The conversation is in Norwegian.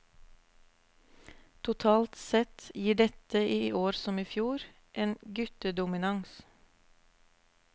Totalt sett gir dette, i år som i fjor, en guttedominans.